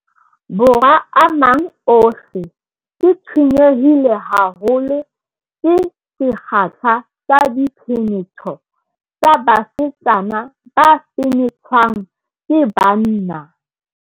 Borwa a mang ohle, ke tshwenyehile haholo ke sekgahla sa diphenetho tsa basetsana ba fenethwang ke banna.